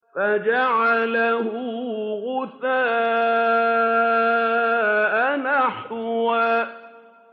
فَجَعَلَهُ غُثَاءً أَحْوَىٰ